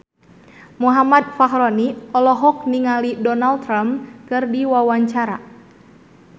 Muhammad Fachroni olohok ningali Donald Trump keur diwawancara